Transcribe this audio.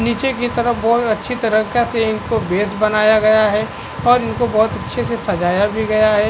नीचे की तरफ बहोत अच्छे तरीका से इनको बेस बनाया गया है और इनको अच्छी तरह से सजाया भी गया है।